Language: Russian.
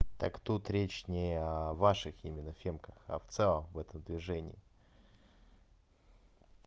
так тут речь не о ваших именно фемках а в целом в этом движении